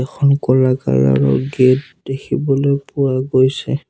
এখন ক'লা কলাৰ ৰ গেট দেখিবলৈ পোৱা গৈছে।